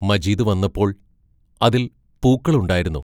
മജീദ് വന്നപ്പോൾ, അതിൽ പൂക്കളുണ്ടായിരുന്നു.